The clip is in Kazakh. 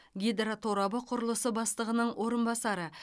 гидроторабы құрылысы бастығының орынбасары